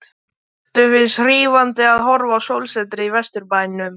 Eddu finnst hrífandi að horfa á sólsetrið í Vesturbænum.